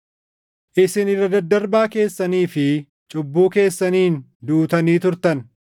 Isin irra daddarbaa keessanii fi cubbuu keessaniin duutanii turtan;